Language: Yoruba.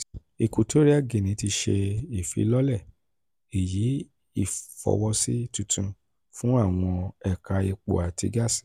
equatorial guinea ti ṣe ìfilọlẹ ìyí ìfọwọ́sí tuntun fún àwọn ẹ̀ka epo àti gáàsì